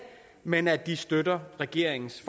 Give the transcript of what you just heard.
men at de også støtter regeringens